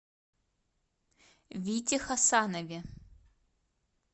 вите хасанове